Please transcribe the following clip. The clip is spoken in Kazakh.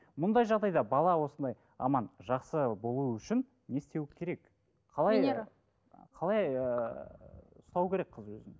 мұндай жағдайда бала осындай аман жақсы болуы үшін не істеуі керек қалай ыыы ұстау керек қыз өзін